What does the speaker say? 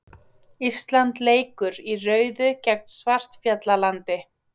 Ísland leikur í rauðu gegn Svartfjallalandi